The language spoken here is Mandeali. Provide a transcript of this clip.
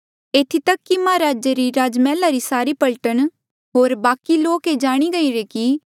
एथी तक कि महाराजे रे राजमहला री सारी पलटन होर बाकि लोका ये जाणी गईरे कि मसीह रा सेऊआदार हूंणे री वजहा ले हांऊँ जेल्हा मन्झ आ